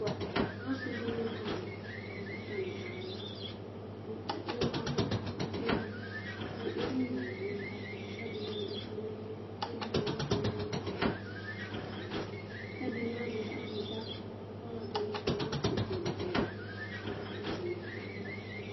ɔsi di ni kɔlu ku ata ni kala , ku ewu ɔvlɛ nu ukponu, ku emu nu aɣla nu ava ku ɛdini adu ufa nu ɛmɔ ku ɛdi ni ewu ɛku nu ɛlu, ku ɛdi ni azɛ awudza, ku ɔlɔdi ni kɔ nu itsɛdi tsɛdi ku aka kɔsu ma